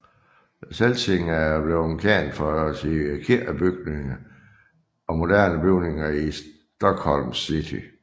Celsing er blevet kendt for sine kirkebygninger og moderne bygninger i Stockholms City